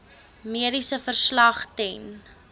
mediese verslag ten